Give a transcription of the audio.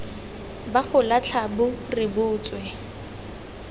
ba go latlha bo rebotswe